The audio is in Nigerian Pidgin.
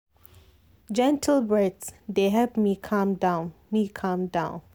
gentle breath dey help me calm down me calm down